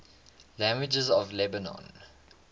languages of lebanon